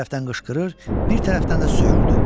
Bir tərəfdən qışqırır, bir tərəfdən də söyürdü.